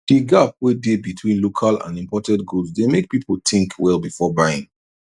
the gap wey dey between local and imported goods dey make people think well before buying